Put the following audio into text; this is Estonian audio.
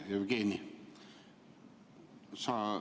Hea Jevgeni!